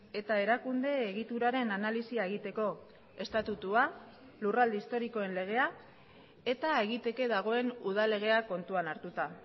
eta erakunde egituraren analisia egiteko estatutua lurralde historikoen legea eta egiteke dagoen udal legea kontuan hartuta